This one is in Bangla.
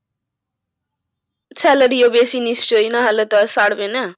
Salary তো বেশি নিশ্চই না হলে না হলে তো আর ছাড়বে না।